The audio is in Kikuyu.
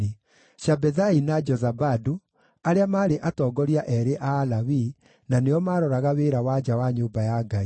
Shabethai na Jozabadu, arĩa maarĩ atongoria eerĩ a Alawii, na nĩo maaroraga wĩra wa nja wa nyũmba ya Ngai;